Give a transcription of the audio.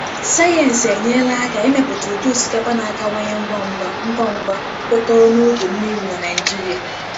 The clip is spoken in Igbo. Sayensị enyela aka imepụta ụdị osikapa na-akawanye ngwa ngwa, ngwa ngwa, kwekọrọ na oge mmiri na Naịjirịa.